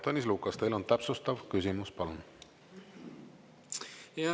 Tõnis Lukas, teil on täpsustav küsimus, palun!